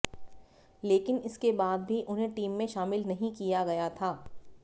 लेकिन इसके बाद भी उन्हें टीम में शामिल नहीं किया गया था